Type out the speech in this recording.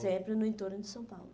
Sempre no entorno de São Paulo.